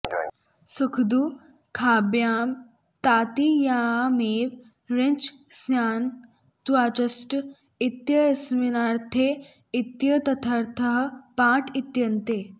सुखदुःखाभ्यां तत्कियायामेव णिच् स्यान्न त्वाचष्ट इत्यस्मिन्नर्थे इत्येतदर्थः पाठ इत्यन्ये